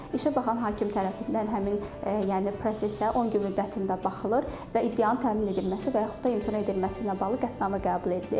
İşə baxan hakim tərəfindən həmin, yəni prosesə 10 gün müddətində baxılır və iddianın təmin edilməsi və yaxud da imtina edilməsi ilə bağlı qətnamə qəbul edilir.